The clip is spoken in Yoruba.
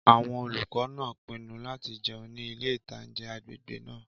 Àwọn olùkọ́ náà pinnu láti jẹun ní ilé-ìtánjẹ agbègbè náà